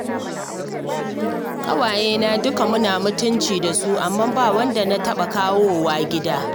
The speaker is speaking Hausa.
Ƙawayena dukka muna mutunci da su, amma ba wadda na taɓa kawowa gida